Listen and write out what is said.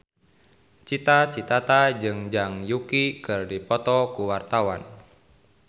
Cita Citata jeung Zhang Yuqi keur dipoto ku wartawan